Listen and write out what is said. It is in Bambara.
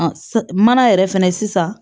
Mana yɛrɛ fɛnɛ sisan